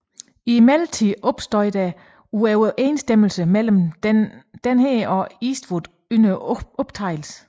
Imidlertid opstod der uoverensstemmelser mellem denne og Eastwood under optagelserne